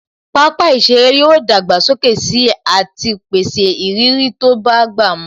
Pápá ìṣeré yóò dàgbà sókè sí àti pèsè ìrírí tó bá gbà mu